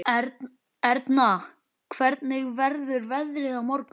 Erna, hvernig verður veðrið á morgun?